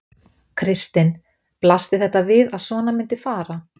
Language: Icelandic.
Kristinn: Blasti þetta við að svona myndi fara?